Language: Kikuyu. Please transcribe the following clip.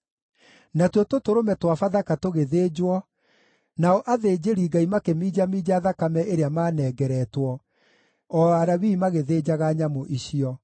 Natuo tũtũrũme twa Bathaka tũgĩthĩnjwo, nao athĩnjĩri-Ngai makĩminjaminja thakame ĩrĩa maanengeretwo, o Alawii magĩthĩnjaga nyamũ icio.